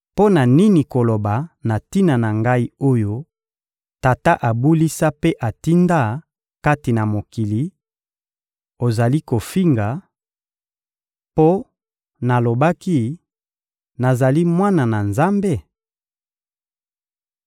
mpo na nini koloba na tina na Ngai oyo Tata abulisa mpe atinda kati na mokili: «Ozali kofinga,» mpo nalobaki: «Nazali Mwana na Nzambe?»